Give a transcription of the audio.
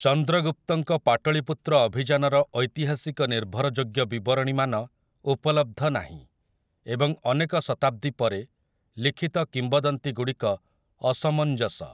ଚନ୍ଦ୍ରଗୁପ୍ତଙ୍କ ପାଟଳୀପୁତ୍ର ଅଭିଯାନର ଐତିହାସିକ ନିର୍ଭରଯୋଗ୍ୟ ବିବରଣୀମାନ ଉପଲବ୍ଧ ନାହିଁ ଏବଂ ଅନେକ ଶତାବ୍ଦୀ ପରେ ଲିଖିତ କିମ୍ବଦନ୍ତୀଗୁଡ଼ିକ ଅସମଞ୍ଜସ ।